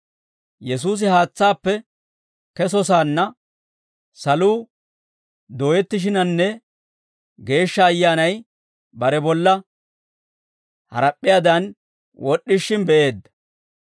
Yesuusi haatsaappe kesosaanna saluu dooyettishiinanne Geeshsha Ayyaanay bare bolla harap'p'iyaadan wod'd'ishin be'eedda.